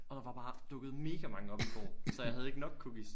Og der var bare dukket mega mange op i går så jeg havde ikke nok cookies